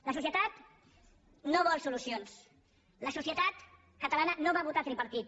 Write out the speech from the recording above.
la societat no vol solucions la societat catalana no va votar tripartit